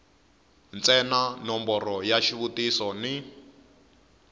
ntsena nomboro ya xivutiso ni